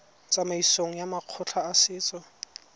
tsamaisong ya makgotla a setso